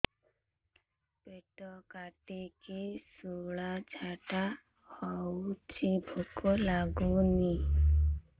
ପେଟ କାଟିକି ଶୂଳା ଝାଡ଼ା ହଉଚି ଭୁକ ଲାଗୁନି